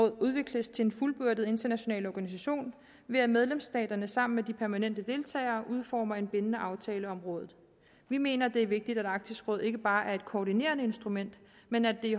udvikles til en fuldbyrdet international organisation ved at medlemsstaterne sammen med de permanente deltagere udformer en bindende aftale om rådet vi mener det er vigtigt at arktisk råd ikke bare er et koordinerende instrument men at det i